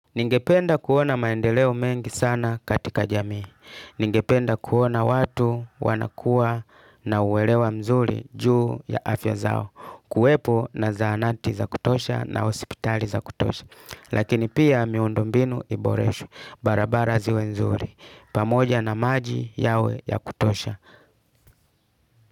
Ningependa kuona maendeleo mengi sana katika jamii. Ningependa kuona watu wanakua na uwelewa mzuri juu ya afya zao. Kuwepo na zahanati za kutosha na hospitali za kutosha. Lakini pia miundombinu iboreshwe. Barabara ziwe nzuri. Pamoja na maji yawe ya kutosha.